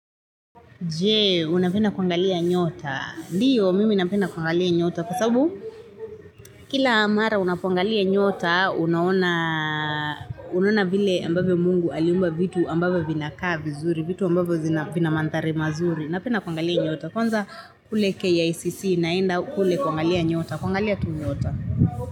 Jee, unapenda kuangalia nyota. Ndiyo, mimi napenda kuangalia nyota. Kwa sababu, kila mara unapoangalia nyota, unaona vile ambavyo mungu aliumba vitu ambavyo vinakaa vizuri, vitu ambavyo vina manthari mazuri. Napenda kuangalia nyota. Kwanza kule KICC naenda kule kuangalia nyota. Kuangalia tu nyota.